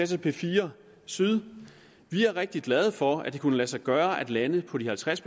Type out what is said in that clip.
til p4 syd vi er rigtig glade for at det kunne lade sig gøre at lande på de halvtreds